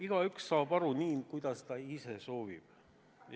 Igaüks saab aru nii, nagu ta ise soovib.